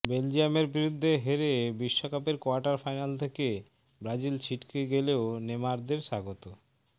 বেলজিয়ামের বিরুদ্ধে হেরে বিশ্বকাপের কোয়ার্টার ফাইনাল থেকে ব্রাজিল ছিটকে গেলেও নেমারদের স্বাগত